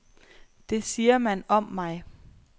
Det siger man om mig.